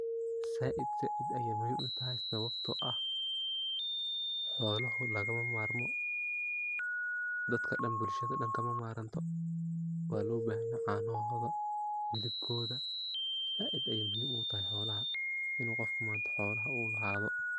zaaid zaaid ayay muhim utahay sababto ah xoloho lagama marmo, dadka dhan bulshada dhan kama maranto waa loo bahanya caanohoda, hilibkoda zaaid ayay muhim ogu tahay xoolaha inu manta qofka xoolaha uu lahaday